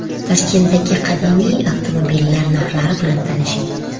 Toshkentdagi qadimiy avtomobillar narxlari bilan tanishing .